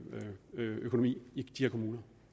økonomi i disse kommuner